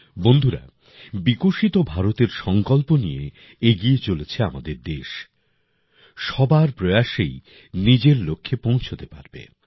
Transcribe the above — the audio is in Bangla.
বন্ধুরা বিকশিত ভারতের সঙ্কল্প নিয়ে এগিয়ে চলেছে আমাদের দেশ সবার প্রয়াসেই নিজের লক্ষ্যে পৌঁছতে পারবে